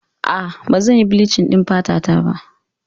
Aa, Ba zan yi bilichin ɗin fata ta ba